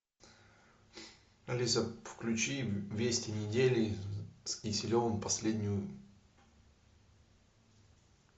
алиса включи вести недели с киселевым последнюю